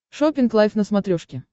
шоппинг лайф на смотрешке